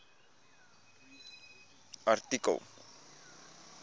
artikel